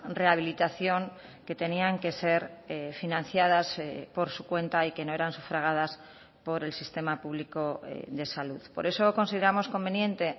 rehabilitación que tenían que ser financiadas por su cuenta y que no eran sufragadas por el sistema público de salud por eso consideramos conveniente